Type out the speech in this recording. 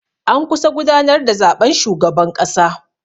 An kusa gudanar da zaɓen shugaban ƙasa.